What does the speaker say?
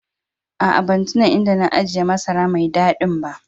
Aa, ban tuna inda na ajia masara mai dadin ba.